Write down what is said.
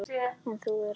En þú ert ekki hér.